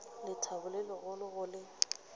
lethabo le legolo go le